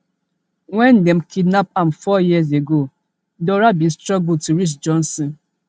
wen dem kidnap am four years ago dora bin struggle to reach johnson